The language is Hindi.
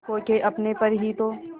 खो के अपने पर ही तो